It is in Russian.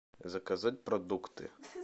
заказать продукты